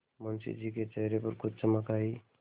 मुंशी जी के चेहरे पर कुछ चमक आई